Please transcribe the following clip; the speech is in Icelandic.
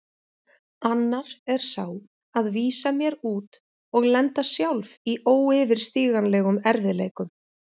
Annar er sá að vísa mér út og lenda sjálf í óyfirstíganlegum erfiðleikum.